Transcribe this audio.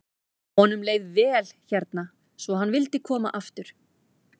Honum leið vel hérna svo hann vildi koma aftur.